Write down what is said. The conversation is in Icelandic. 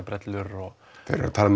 brellur þeir eru að tala